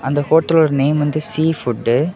இந்த ஹோட்டலோட நேம் வந்து சீ ஃபுட்டு .